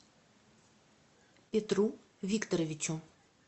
петру викторовичу